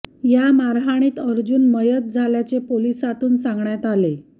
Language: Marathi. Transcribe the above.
या मारहाणीत अर्जुन मयत झाल्याचे पोलिसांतून सांगण्यात आले